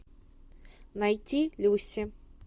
найти люси